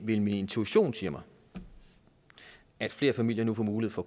min intuition siger mig at flere familier nu får mulighed for